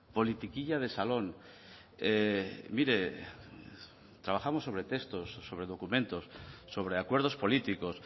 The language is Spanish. politiquilla de salón mire trabajamos sobre textos sobre documentos sobre acuerdos políticos